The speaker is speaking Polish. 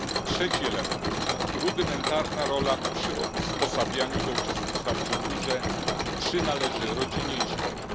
Trzeci element rudymentarna rola w przysposabianiu do uczestnictwa w kulturze przynależy rodzinie i szkole.